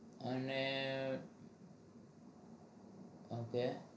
અને ok